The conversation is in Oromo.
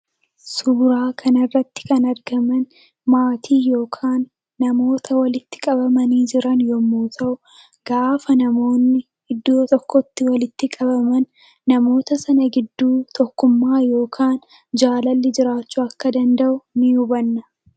Suura kana irratti kan argaman maatii yookiin namoota walitti qabamanii jiran yemmuu ta'u gaafa namoonni iddoo tokkotti walitti qabamanii argaman tokkummaa yookiin jaalalli gidduu isaanii akka jiru ni hubanna.